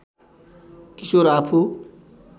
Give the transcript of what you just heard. किशोर आफू